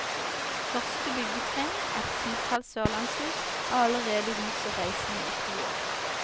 Første byggetrinn, et titalls sørlandshus, har allerede huset reisende i to år.